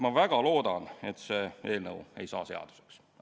Ma väga loodan, et see eelnõu ei saa seaduseks.